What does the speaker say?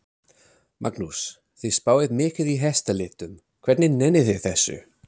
Magnús: Þið spáið mikið í hestalitum, hvernig nennið þið þessu?